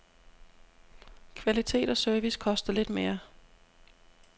Kvalitet og service koster lidt mere.